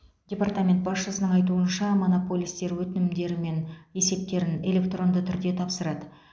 департамент басшысының айтуынша монополистер өтінімдері мен есептерін электронды түрде тапсырады